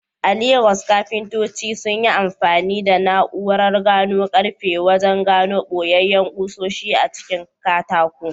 A Legas, kafintoci sun yi amfani da na’urar gano karfe wajen gano boyayyen kusoshi a cikin katako.